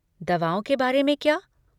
दवाओं के बारे में क्या?